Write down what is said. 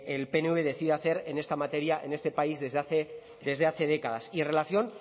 el pnv decida hacer en esta materia en este país desde hace décadas y en relación